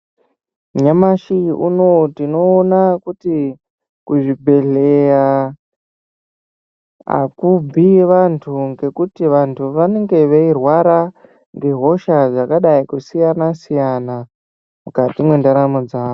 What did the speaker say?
Nyamashi unowu tinoona kuti kuchibhehleya akubvi vantu ngekuti vantu vanenhe veirwara ngehosha dzakadai kusiyana siyana mukati mwendaramo dzavo.